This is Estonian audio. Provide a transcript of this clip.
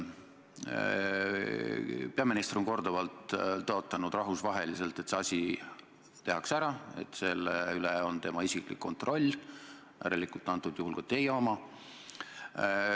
Peaminister on korduvalt rahvusvahelises auditooriumis tõotanud, et see asi tehakse ära, et selle üle on tema isiklik kontroll, järelikult praegusel juhul ka teie oma.